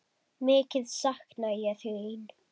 Mikið sakna ég þín.